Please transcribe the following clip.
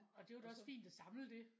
Orh det var da også fint at samle det